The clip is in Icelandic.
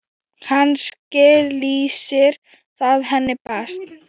Kannski lýsir það henni best.